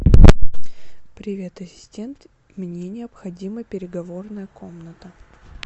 привет ассистент мне необходима переговорная комната